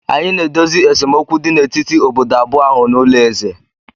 Anyị na-edozi esemokwu dị n'etiti obodo abụọ ahụ n'ụlọ eze